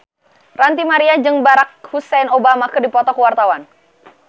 Ranty Maria jeung Barack Hussein Obama keur dipoto ku wartawan